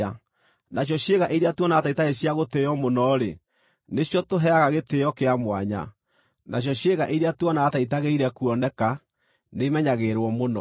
nacio ciĩga iria tuonaga ta itarĩ cia gũtĩĩo mũno-rĩ, nĩcio tũheaga gĩtĩĩo kĩa mwanya. Nacio ciĩga iria tuonaga ta itagĩrĩire kuoneka nĩimenyagĩrĩrwo mũno,